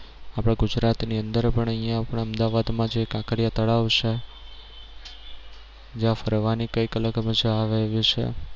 આપણા ગુજરાત ની અંદર પણ અહિયાં આપણા અમદાવાદ માં જે કાંકરિયા તળાવ છે જ્યાં ફરવાની કઈક અલગ મજા આવે એવી છે